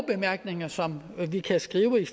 bemærkninger som vi kan skrive i